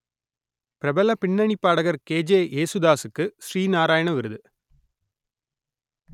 பிரபல பின்னணிப் பாடகர் கே ஜே யேசுதாசுக்கு ஸ்ரீ நாராயண விருது